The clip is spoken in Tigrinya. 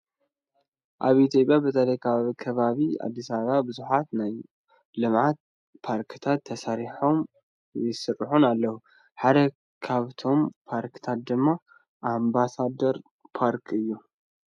ኣብ ኢ/ያ በተለይ ኣብ ከባቢ ኣዲስ ኣበባ ብዙሓት ናይ ልምዓት ፓርክታት ተሰሪሖምን ይስሩሑን ኣለው፡፡ ሓደ ካብቶም ፓርክታት ድማ ኣምባሳደር ፓርክ እዩ፡፡